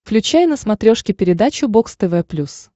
включай на смотрешке передачу бокс тв плюс